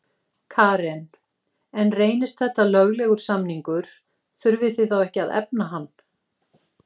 Karen: En reynist þetta löglegur samningur, þurfið þið þá ekki að efna hann?